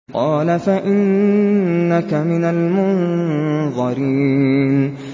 قَالَ فَإِنَّكَ مِنَ الْمُنظَرِينَ